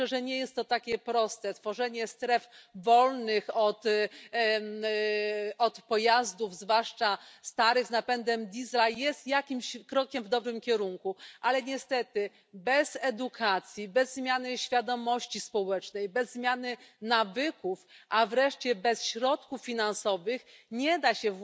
Ja myślę, że nie jest to takie proste tworzenie stref wolnych od pojazdów, zwłaszcza starych z napędem Diesla, jest jakimś krokiem w dobrym kierunku, ale niestety bez edukacji, bez zmiany świadomości społecznej, bez zmiany nawyków, a wreszcie bez środków finansowych nie da się